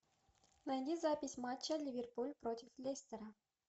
найди запись матча ливерпуль против лестера